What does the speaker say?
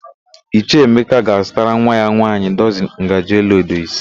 Ichie Emeka ga-azutara nwa ya nwaanyị dọzịn ngaji olaedo ise.